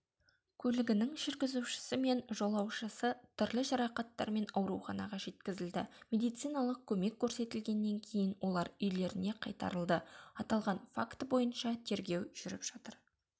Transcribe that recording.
көлігінің жүргізушісі мен жолаушысы түрлі жарақаттармен ауруханаға жеткізілді медициналық көмек көрсетілгеннен кейін олар үйлеріне қайтарылды аталған факті бойынша тергеу жүріп жатыр